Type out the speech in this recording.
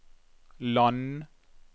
land